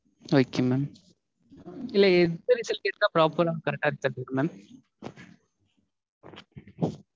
Okay mam. இல்ல எத்தன test எடுத்தா proper ஆ correct ஆ இருக்கும் Mam?